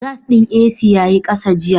Gas ɗin AC ya yi ƙasa jiya.